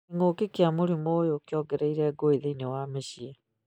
King'ũki kĩa mũrimũ ũyũ nĩ kĩongereire ngũĩ thĩinĩ wa mĩciĩ.